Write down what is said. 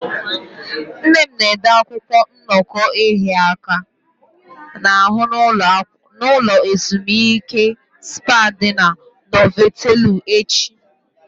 Nne m na-ede akwụkwọ nnọkọ ịhịa aka n'ahụ na ulo ezimuike spá ndi Novotelu echi.